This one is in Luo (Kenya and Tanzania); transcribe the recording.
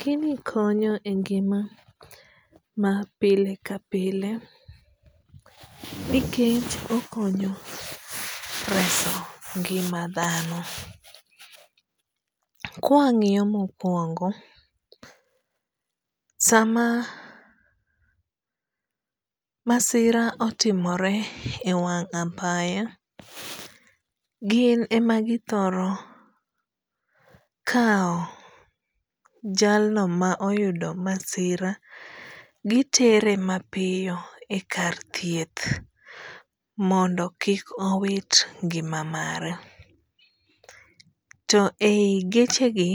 Gini konyo e ngima ma pile ka pile nikech okonyo reso ngima dhano. Ka wang'iyo mokuongo, sama masira otimore ewang' apaya, gin ema githoro kawo jalno ma oyudo masira gitere mapiyo ekar thieth mondo kik owit ngima mare. To eigechegi,